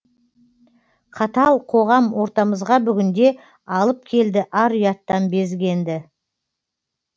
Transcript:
қатал қоғам ортамызға бүгінде алып келді ар ұяттан безгенді